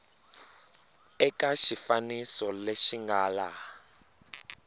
eka xifaniso lexi nga laha